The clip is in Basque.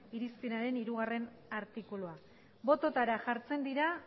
irizpenaren hirugarrena artikulua botoetara jartzen dira